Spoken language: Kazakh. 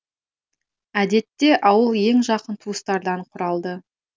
әдетте ауыл ең жақын туыстардан құралды